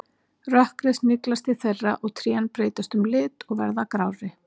Rökkrið sniglast til þeirra og trén breyta um lit og verða grárri.